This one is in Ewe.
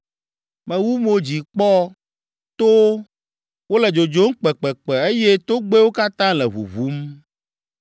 Mewu mo dzi kpɔ towo, wole dzodzom kpekpekpe eye togbɛwo katã le ʋuʋum.